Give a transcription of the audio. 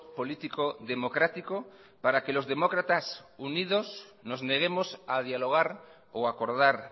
político democrático para que los demócratas unidos nos neguemos a dialogar o a acordar